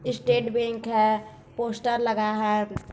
Estate bank है poster लगा है।